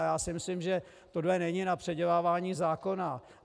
A já si myslím, že tohle není na předělávání zákona.